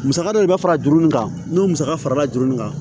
Musaka dɔ bɛ fara juru nin kan n'o musaka farala jurunin kan